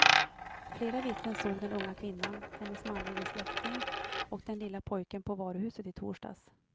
Flera vittnen såg den unga kvinnan, hennes manlige släkting och den lilla pojken på varuhuset i torsdags.